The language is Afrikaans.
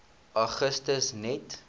augustus net